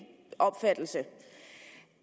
opfattelse